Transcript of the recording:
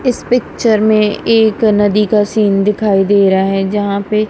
इस पिक्चर में एक नदी का सीन दिखाई दे रहा है जहां पे--